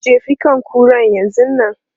Jefi kan kuran yanzun nan!